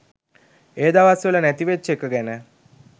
ඒ දවස් වල නැති වෙච්ච එක ගැන